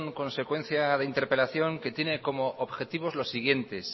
consecuencia de interpelación que tiene como objetivos los siguientes